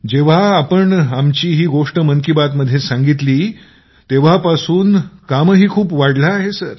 जेव्हापासून सर आपण आमची ही गोष्ट मन की बात मध्ये सांगितली तेव्हापासून खूप कामही वाढलं आहे